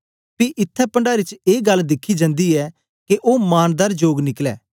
पी इत्थैं पणडारी च ए गल्ल दिखी जंदी ऐ के ओ मांनदार जोग निकलै